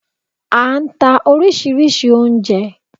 A nta oríṣìíríṣìí oúnjẹ